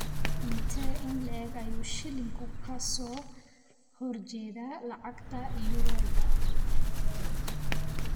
Intee in le'eg ayuu shilinku ka soo horjeedaa lacagta euro-da?